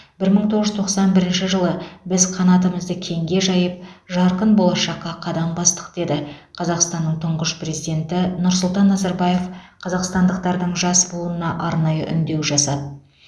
бір мың тоғыз жүз тоқсан бірінші жылы біз қанатымызды кеңге жайып жарқын болашаққа қадам бастық деді қазақстанның тұңғыш президенті нұрсұлтан назарбаев қазақстандықтардың жас буынына арнайы үндеу жасады